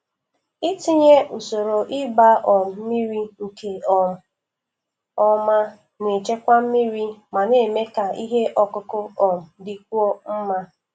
Itinye usoro ịgba um mmiri nke um ọma na-echekwa mmiri ma na-eme ka ihe ọkụkụ um dịkwuo mma.